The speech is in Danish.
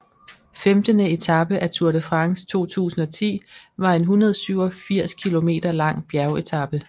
Femtende etape af Tour de France 2010 var en 187 km lang bjergetape